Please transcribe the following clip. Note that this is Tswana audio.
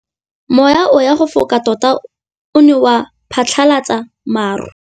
Mowa o wa go foka tota o ne wa phatlalatsa maru.